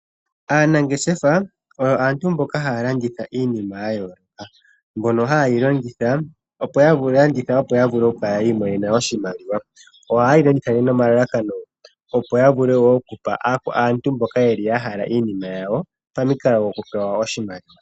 Aanangeshefa oyo aantu mboka haya landitha iinima yayooloka, mbyono haye yi longitha opo yavule okulanditha yiimonenemo oshimaliwa. Ohaye yi landitha nomalalakano opo yavule okupa aantu mbono yahala iinima yawo pamukalo gokupewa oshimaliwa.